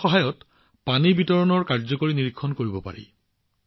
ইয়াৰ সহায়ত পানী বিতৰণৰ কাৰ্যকৰী নিৰীক্ষণ কৰিব পাৰি